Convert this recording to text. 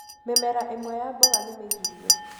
Mĩmera ĩmwe ya mboga nĩ mĩgirie